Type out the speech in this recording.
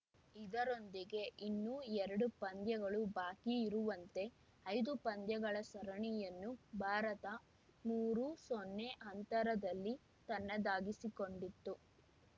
ಇದರೊಂದಿಗೆ ಇನ್ನೂ ಎರಡು ಪಂದ್ಯಗಳು ಬಾಕಿ ಇರುವಂತೆ ಐದು ಪಂದ್ಯಗಳ ಸರಣಿಯನ್ನು ಭಾರತ ಮೂರುಸೊನ್ನೆ ಅಂತರದಲ್ಲಿ ತನ್ನದಾಗಿಸಿಕೊಂಡಿತು